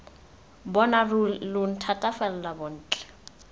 bona ruri lo nthatela bontle